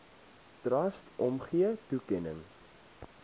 trust omgee toekenning